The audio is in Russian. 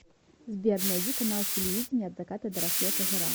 сбер найди канал телевидения от заката до рассвета жара